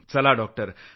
चला डॉक्टर